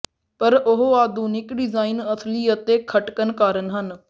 ਪਰ ਉਹ ਆਧੁਨਿਕ ਡਿਜ਼ਾਇਨ ਅਸਲੀ ਅਤੇ ਖਟਕਣ ਕਾਰਨ ਹਨ